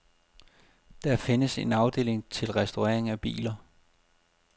Der findes en afdeling til restaurering af biler.